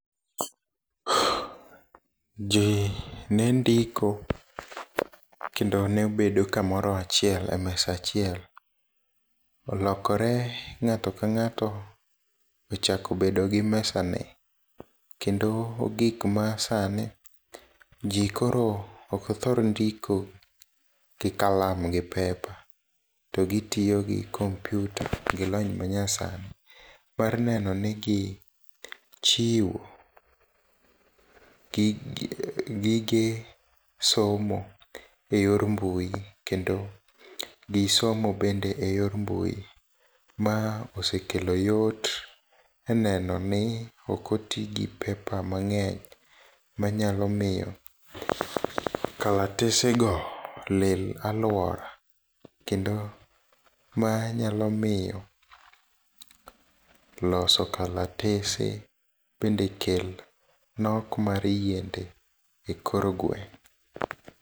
Jii nendiko, kendo nebedo kamoro achiel e mesa achiel. Olokore ng'ato kang'ato ochako bedogi mesane. Kendo gik masani, jii koro okthor ndiko gi kalam gi paper, togitiyo gi kompyuta gi lony manyasani mar neno ni gichiwo gige somo e yor mbui, kendo gisomo bende e yor mbui. Ma osekelo yot e nenoni okotigi paper mang'eny manyalo miyo kalatesego lil aluora, kendo ma nyalo miyo loso kalatese bende kel nok mar yiende e kor gweng'.